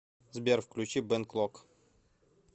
сбер включи бен клок